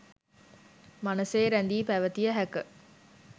මනසේ රැඳී පැවතිය හැක.